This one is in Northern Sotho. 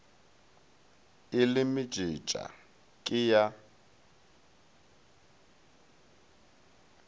e le mejetša ke ya